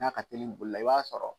N'a ka telin bolila i b'a sɔrɔ